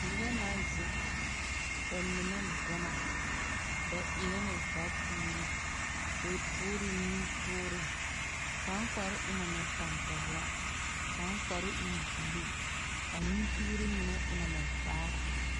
Nobԑ naŋ zeŋ, ba mine dͻma. Ba erԑ ne vapuuri, bԑ tuuri la nutoore. Kaŋ kparoo e na mԑ tampԑloŋ, kaŋ kparoo e ne buluu. A nutuuri ŋa mine e ŋa vaare.